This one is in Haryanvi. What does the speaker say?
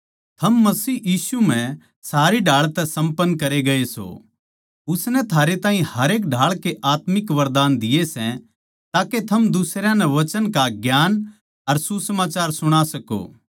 थम मसीह यीशु म्ह सारी ढाळ तै सम्पन्न करे गये सों उसनै थारे ताहीं हरेक ढाळ की आत्मिक वरदान दिए सै ताके थम दुसरयां नै वचन का ज्ञान अर सुसमाचार सुणा सको